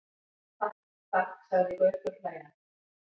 Takk, takk sagði Gaukur hlæjandi.